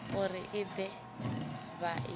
uri i de vha i